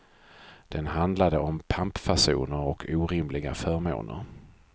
Den handlade om pampfasoner och orimliga förmåner.